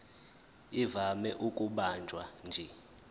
ivame ukubanjwa nje